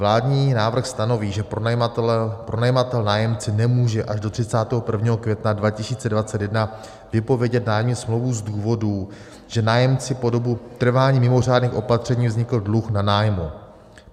Vládní návrh stanoví, že pronajímatel nájemci nemůže až do 31. května 2021 vypovědět nájemní smlouvu z důvodu, že nájemci po dobu trvání mimořádných opatření vznikl dluh na nájmu.